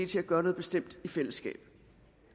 til at gøre noget bestemt i fællesskab